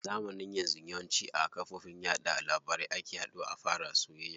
Zamanin yanzu yawanci a kafofin yaɗa labarai ake haduwa a fara soyayya.